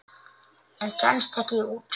En kemst ekki út.